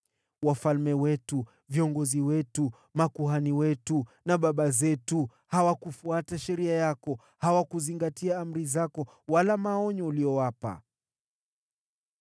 Wafalme wetu, viongozi wetu, makuhani wetu na baba zetu hawakufuata sheria yako. Hawakuzingatia amri zako wala maonyo uliyowapa.